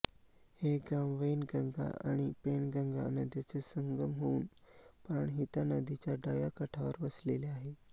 हे गाव वैनगंगा आणि पैनगंगा नद्यांचे संगम होऊन प्राणहिता नदीच्या डाव्या काठावर वसलेले आहे